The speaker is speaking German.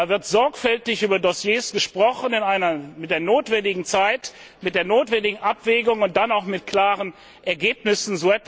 Da wird sorgfältig über Dossiers gesprochen mit der notwendigen Zeit, mit der notwendigen Abwägung und dann auch mit klaren Ergebnissen.